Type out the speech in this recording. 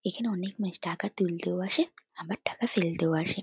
এখানে অনেক মানুষ টাকা তুলতেও আসে আবার ফেলতেও আসে।